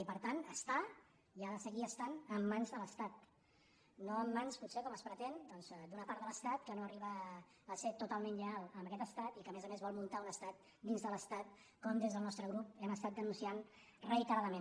i per tant està i ha de seguir estant en mans de l’estat no en mans potser com es pretén doncs d’una part de l’estat que no arriba a ser totalment lleial a aquest estat i que a més a més vol muntar un estat dins de l’estat com des del nostre grup hem estat denunciant reiteradament